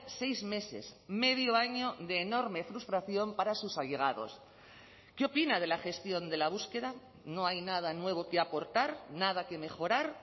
seis meses medio año de enorme frustración para sus allegados qué opina de la gestión de la búsqueda no hay nada nuevo que aportar nada que mejorar